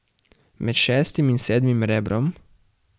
Med šestim in sedmim rebrom?